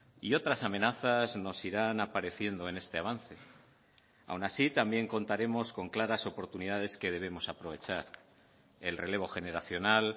y otras amenazas nos irán apareciendo en este avance aun así también contaremos con claras oportunidades que debemos aprovechar el relevo generacional